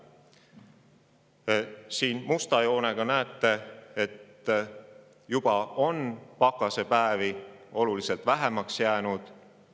Musta joonega näete, et kliima soojenedes on pakasepäevi juba oluliselt vähemaks jäänud.